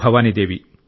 Bhavani Devi